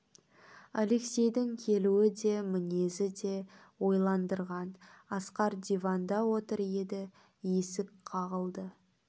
алексейдің келуі де мінезі де ойландырған асқар диванда отыр еді есік қағылды